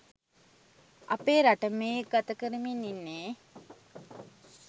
අපේ රට මේ ගත කරමින් ඉන්නේ